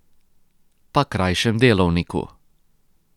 Pa krajšem delovniku.